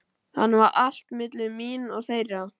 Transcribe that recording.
Þannig var allt milli mín og þeirra.